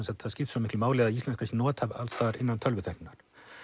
svo miklu máli að íslenskan sé notuð alls staðar innan tölvutækninnar